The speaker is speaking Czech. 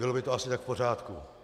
Bylo by to asi tak v pořádku?